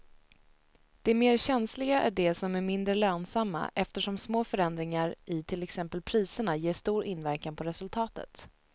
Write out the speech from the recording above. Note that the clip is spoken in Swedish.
De mer känsliga är de som är mindre lönsamma eftersom små förändringar i till exempel priserna ger stor inverkan på resultatet.